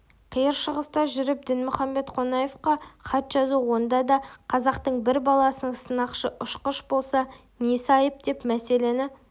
қиыр шығыста жүріп дінмұхамед қонаевқа хат жазу онда да қазақтың бір баласының сынақшы-ұшқыш болса несі айып деп мәселені